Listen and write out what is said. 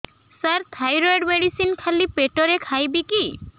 ସାର thyroid medicine ଖାଲି ପେଟରେ ଖାଇବି କି